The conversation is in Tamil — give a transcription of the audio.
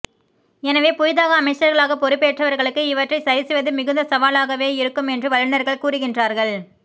எனவே புதிதாக அமைச்சர்களாக பொறுப்பேற்றவர்களுக்கு இவற்றைச் சரிசெய்வது மிகுந்த சவாலாகவே இருக்கும் என்று வல்லுநர்கள் கூறுகின்றார்கள்